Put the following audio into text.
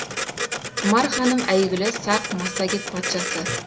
тұмар ханым әйгілі сақ массагет патшасы